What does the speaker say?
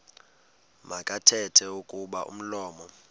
makathethe kuba umlomo